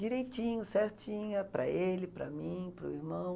direitinho, certinha, para ele, para mim, para o irmão.